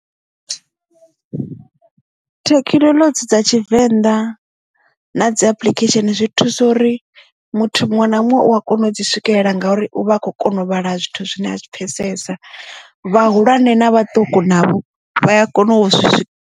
Thekhinoḽodzhi dza tshivenḓa na dzi application zwi thusa uri muthu muṅwe na muṅwe u a kona u dzi swikelela ngauri u vha a khou kona u vhala zwithu zwine a zwi pfesesa vhahulwane na vhaṱuku navho vha a kona u swika.